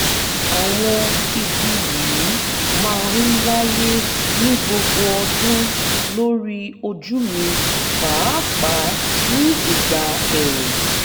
àwọn ibi yìí máa ń wáyé ní gbogbo ọdún lórí ojú mi pàápàá ní ìgbà ẹ̀ẹ̀rùn